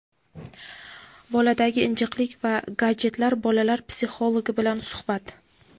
boladagi injiqlik va gadjetlar - bolalar psixologi bilan suhbat.